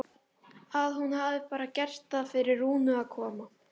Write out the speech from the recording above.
Að hún hafi bara gert það fyrir Rúnu að koma.